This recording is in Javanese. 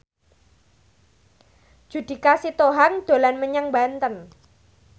Judika Sitohang dolan menyang Banten